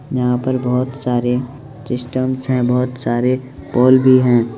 यहां पर बहुत सारे सिस्टम्स है बहुत सारे पोल भी है।